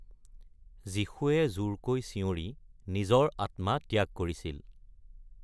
যীশুৱে জোৰকৈ চিঞৰি নিজৰ আত্মা ত্যাগ কৰিছিল।